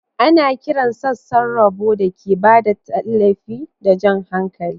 Ana kiran sassan roba da ke ba da tallafi da jan hankali.